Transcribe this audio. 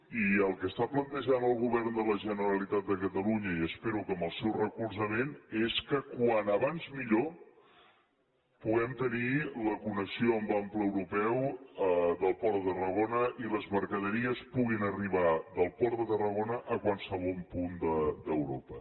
i el que està plantejant el govern de la generalitat de catalunya i espero que amb el seu recolzament és que com més aviat millor puguem tenir la connexió amb ample europeu del port de tarragona i les mercaderies puguin arribar del port de tarragona a qualsevol punt d’europa